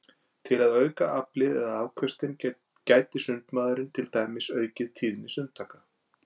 Til að auka aflið eða afköstin gæti sundmaðurinn til dæmis aukið tíðni sundtaka.